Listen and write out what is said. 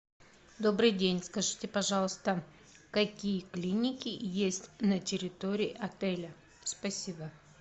добрый день скажите пожалуйста какие клиники есть на территории отеля спасибо